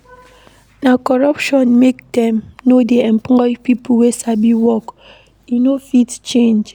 Na corruption make dem no dey employ pipo wey sabi work, e no fit change.